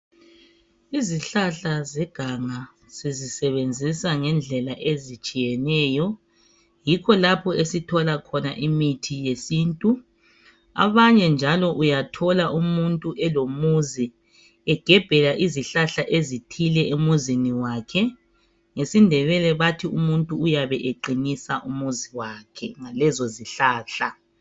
Izihlahla zeganga sizisebenzisa ngendlela ezitshiyeneyo yikho lapho esithola khona imithi yesintu abanye njalo uyathola umuntu elomuzi egebhela izihlahla ezithile emzini wakhe ngesindebele bathi umuntu uyabe eqinisa umuzi wakhe ngalezo zihlahla.